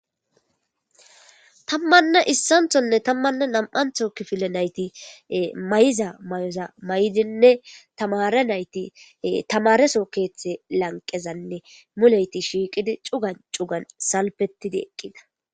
Tammanne issanthonne tammanne nam'antho kifile nayti may'iza ma'oza may'dinne tamare nayti tamareso keeththe lanqezanne muleyti shiiqidi cugan cugan salpetidi eqqida